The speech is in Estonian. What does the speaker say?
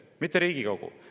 Seda ei otsusta Riigikogu.